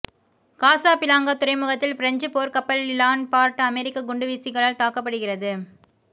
Casablanca துறைமுகத்தில் பிரெஞ்சுப் போர்க்கப்பல் ழான் பார்ட் அமெரிக்க குண்டுவீசிகளால் தாக்கப்படுகிறது